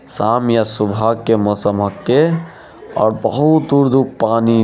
शाम या सुबह के मौसम होते और बहुत दूर-दूर पानी --